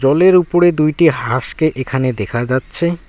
জলের ওপরে দুইটি হাসকে এখানে দেখা যাচ্ছে।